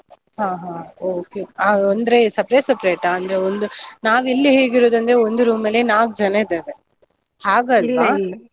ಹ ಹ okay ಆ ಅಂದ್ರೆ separate separate ಆ? ಅಂದ್ರೆ ಒಂದ್ ನಾವ್ ಇಲ್ಲಿ ಹೇಗಿರೋದು ಅಂದ್ರೆ, ಒಂದು room ಅಲ್ಲೇ ನಾಲ್ಕು ಜನ ಇದ್ದೇವೆ ಹಾಗಲ್ವಾ .